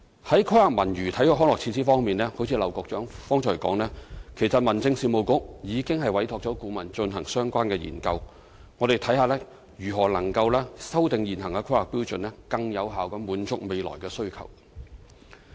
在規劃文娛體育康樂設施方面，正如劉江華局長剛才所說，其實民政事務局已委託顧問進行相關研究。我們會看看如何能夠修訂現行的《規劃標準》，更有效地滿足未來的需求。